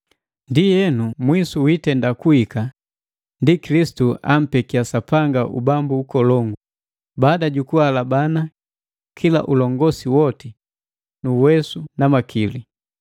Ndienu mwisu wiitenda kuhika ndi Kilisitu ampekia Sapanga ubambu ukolongu, baada jukuhalabana kila ulongosi woti, nu uwesu na makili.